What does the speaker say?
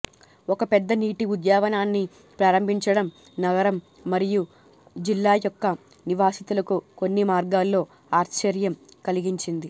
ఒక పెద్ద నీటి ఉద్యానవనాన్ని ప్రారంభించడం నగరం మరియు జిల్లా యొక్క నివాసితులకు కొన్ని మార్గాల్లో ఆశ్చర్యం కలిగించింది